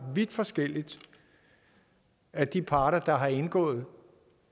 vidt forskelligt af de parter der har indgået